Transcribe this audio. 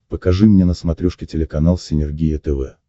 покажи мне на смотрешке телеканал синергия тв